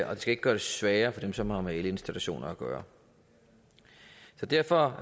ikke gøre det sværere for dem som har med elinstallationer at gøre derfor